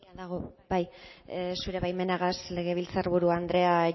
zure baimenagaz legebiltzar buru andrea